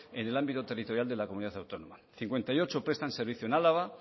en el ámbito territorial de la comunidad autónoma cincuenta y ocho prestan servicio en álava